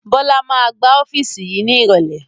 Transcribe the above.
Bọlá máa gbá ọ́fíìsì yìí ní irọ̀lẹ́